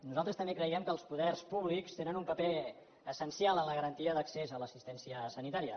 nosaltres també creiem que els poders públics tenen un paper essencial en la garantia d’accés a l’assistència sanitària